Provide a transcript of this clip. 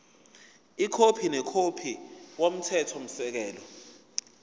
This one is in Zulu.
ikhophi nekhophi yomthethosisekelo